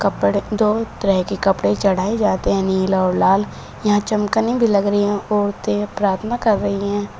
दो तरह के कपड़े चढ़ाए जाते हैं नीला और लाल यहां चमकनी भी लग रही हैं औरतें प्रार्थना कर रही हैं।